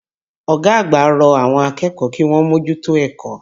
Ọ̀gá àgbà rọ àwọn akẹ́kọ̀ọ́ kíwọ́n mójútó ẹ̀kọ́.